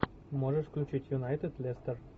можешь включить юнайтед лестер